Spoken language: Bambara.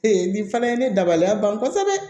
nin fana ye ne dabaliya ban kosɛbɛ